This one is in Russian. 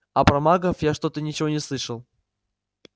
а про магов я что-то ничего не слышал